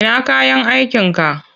Ina kayan aikinka?